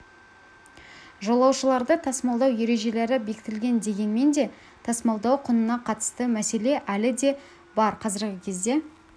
жолаушыларды тасымалдау ережелері бекітілген дегенмен де тасымалдау құнына қатысты мәселе әлі де бар қазіргі кезде